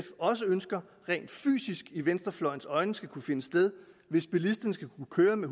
også ønsker rent fysisk i venstrefløjens øjne skal kunne finde sted hvis bilisterne skal kunne køre med